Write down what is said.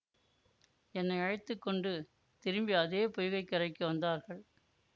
என்னை அழைத்து கொண்டு திரும்பி அதே பொய்கை கரைக்கு வந்தார்கள்